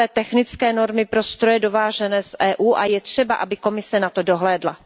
o nové technické normy pro stroje dovážené z EU a je třeba, aby Komise na to dohlédla.